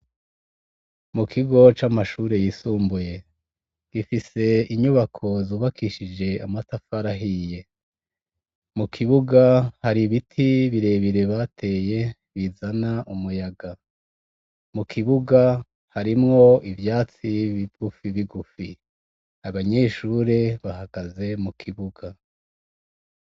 Mukigo camashure yisumbuye gifise inyubako yubakishije amatafari ahiye mukibuga hari ibiti birebire bateye bizana umuyaga mukibuga harimwo ivyatsi bigufi bigufi abanyeshure bahagaze mukibuga